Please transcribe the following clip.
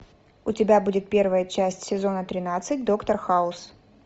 у тебя будет первая часть сезона тринадцать доктор хаус